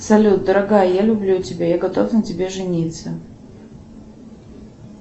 салют дорогая я люблю тебя я готов на тебе жениться